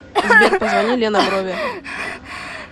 сбер позвони лена брови